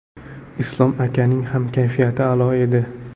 Islom akaning ham kayfiyati a’lo edi.